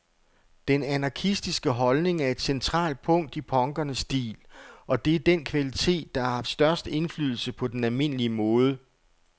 Den anarkistiske holdning er et centralt punkt i punkernes stil, og det er den kvalitet, der har haft størst indflydelse på den almindelige mode.